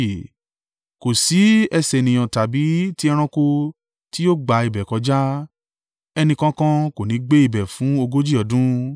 Kò sí ẹsẹ̀ ènìyàn tàbí tí ẹranko tí yóò gba ibẹ̀ kọjá; ẹni kankan kò ní gbé ibẹ̀ fún ogójì ọdún.